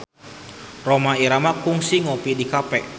Rhoma Irama kungsi ngopi di cafe